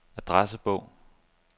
adressebog